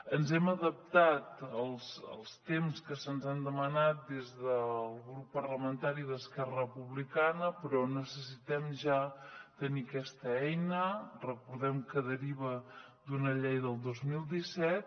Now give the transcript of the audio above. ens hem adaptat als temps que se’ns han demanat des del grup parlamentari d’esquerra republicana però necessitem ja tenir aquesta eina recordem que deriva d’una llei del dos mil disset